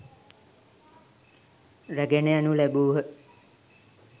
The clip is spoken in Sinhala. රැගෙන යනු ලැබූහ.